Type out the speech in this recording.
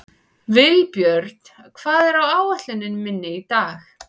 Vilbjörn, hvað er á áætluninni minni í dag?